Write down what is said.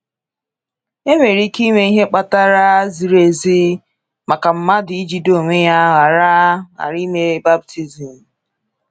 Enwere ike inwe ihe kpatara ziri ezi maka mmadụ ijide onwe ya ịghara ya ịghara ime baptizim?